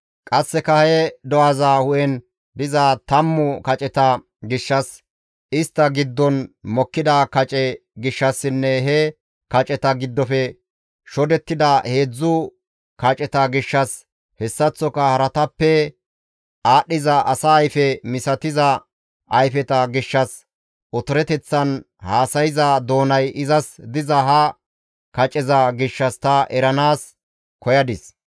Qasseka he do7aza hu7en diza tammu kaceta gishshas, istta giddon mokkida kace gishshassinne he kaceta giddofe shodettida heedzdzu kaceta gishshas hessaththoka haratappe aadhdhiza asa ayfe misatiza ayfeta gishshas, otoroteththan haasayza doonay izas diza ha kaceza gishshas ta eranaas koyadis.